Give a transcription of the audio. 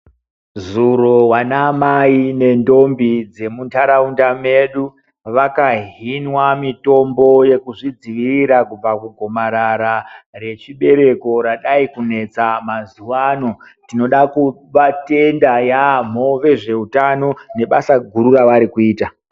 Zuro vana mai nendombi dzemunharaunda medu. Vakahinwa mitombo yeku zvidzivirira kubva kugomarara rechibereko radai kunetsa mazuva ano. Tinoda kuvatenda yaamho vezveutano nebasa guru ravari kuita.